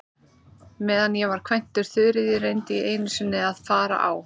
Meðan ég var kvæntur Þuríði reyndi ég einu sinni að fara á